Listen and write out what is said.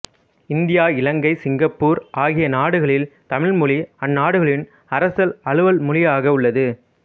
இந்தியாஇலங்கை Singapore ஆகிய நாடுகளில் தமிழ் மொழி அந்நாடுகளின் அரசல் அலுவல் மொழியாக உள்ளது